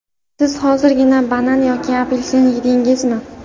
Siz hozirgina banan yoki apelsin yedingizmi?